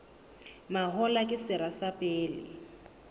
mahola ke sera sa pele